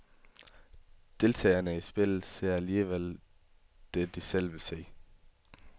Deltagerne i spillet ser alligevel det, de selv vil se.